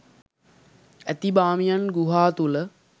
ඇති බාමියන් ගුහා තුළ